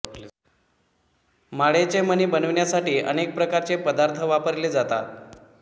माळेचे मणी बनविण्यासाठी अनेक प्रकारचे पदार्थ वापरले जातात